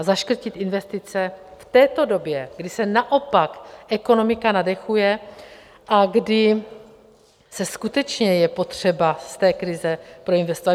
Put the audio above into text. A zaškrtit investice v této době, kdy se naopak ekonomika nadechuje a kdy se skutečně je potřeba z té krize proinvestovat...